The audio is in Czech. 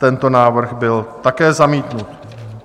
Tento návrh byl také zamítnut.